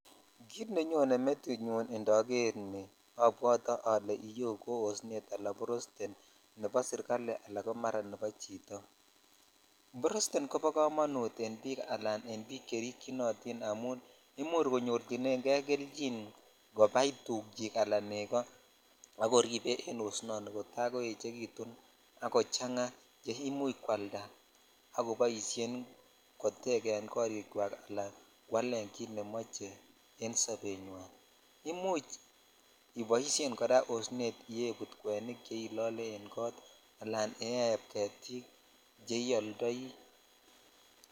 Kit nenyone metinyun indoger ni obwotee ole iyeo ko osnet al borosten nebo serjali ala nebo chito boosten kobo komonut en bik ala en bik cherikyinotin imuch koyorchinen kei kobai tukyikala negoo akoribe en oenet kota koechekitun ak kochang che imuch kwalda ak koboishen kotegen korichwak ala kwalen kit nemoche en sobenywan imuch iboishen kora osnet ibaibut kwenik che ilolee en kot ala ibaiyep getik che iyoldoi.